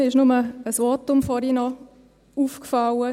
Mir ist in einem Votum etwas aufgefallen: